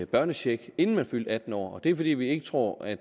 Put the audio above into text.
børnecheck inden man fyldte atten år det er fordi vi ikke tror at